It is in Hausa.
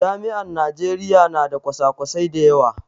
Jami'an Najeriya na da kwasa kwasai da yawa